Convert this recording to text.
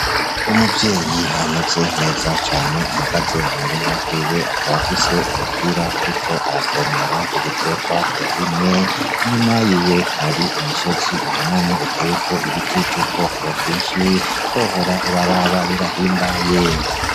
Umuvyeyi ameze nkeza cane ahagaze mu murima wiwe akaba afise umupira, ariko aravomera ibiterwa yarimye inyuma yiwe hari umusozi uhanamye uteweko ibiti vy'ubwoko bwinshi wohora ubaraba birahimbaye.